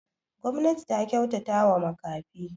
Gwamnati ta kyautatawa makafi.